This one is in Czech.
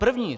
První!